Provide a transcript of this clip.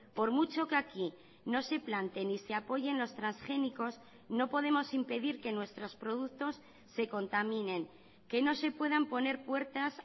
por mucho que aquí no se plante ni se apoyen los transgénicos no podemos impedir que nuestros productos se contaminen que no se puedan poner puertas